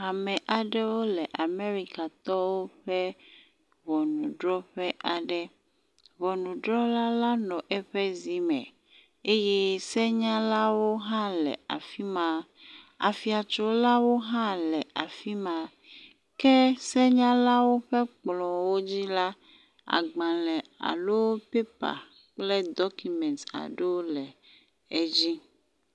Ame aɖewo le Amerikatɔwo ƒe ŋɔnudrɔƒe aɖe. Ŋɔnudrɔla la nɔ eƒe zi me eye senyalwo hã le afi ma. Afiatsolawo hã le afi ma ke senyalawo ƒe kplɔwo dzi la, agbale alo pɛpa kple dɔkumet aɖewo le afi ma.